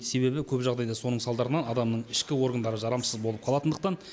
себебі көп жағдайда соның салдарынан адамның ішкі органдары жарамсыз болып қалатындықтан